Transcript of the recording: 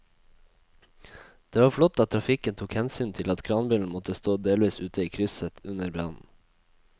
Det var flott at trafikken tok hensyn til at kranbilen måtte stå delvis ute i krysset under brannen.